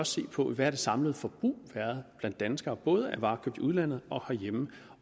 se på hvad det samlede forbrug blandt danskere både af varer købt i udlandet og herhjemme